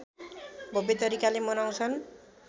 भव्य तरिकाले मनाउँछन्